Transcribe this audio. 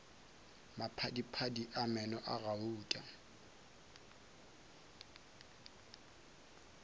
maphadiphadi a meno a gauta